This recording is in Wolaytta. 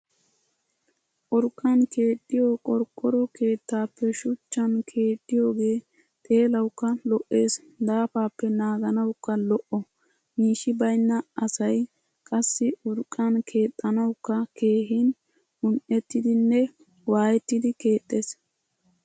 Urqqan keexxiyo qorqqoro keettaappe shuchchan keexxiyoogee xeelawukka lo'ees daafappe naaganawukka lo"o. Miishshi baynna asay qassi urqqan keexxanawukka keehin un"ettidinne waayeetidi keexxes.